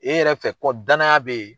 E yɛrɛ fɛ kɔ danaya bɛ ye.